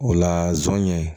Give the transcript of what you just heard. O la zonɲɛ